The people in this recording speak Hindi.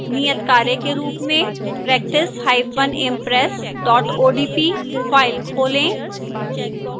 नियतकार्य के रूप में practiceimpress odp फाइल खोलें